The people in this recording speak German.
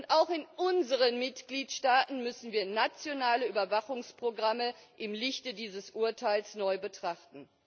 Und auch in unseren Mitgliedstaaten müssen wir nationale Überwachungsprogramme im Lichte dieses Urteils neu betrachten.